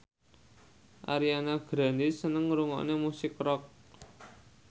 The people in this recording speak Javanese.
Ariana Grande seneng ngrungokne musik rock